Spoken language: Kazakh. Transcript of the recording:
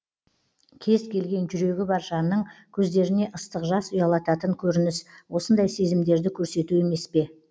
кез келген жүрегі бар жанның көздеріне ыстық жас ұялататын көрініс осындай сезімдерді көрсету емес пе